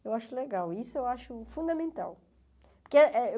Eu acho legal, isso eu acho fundamental. Porque é é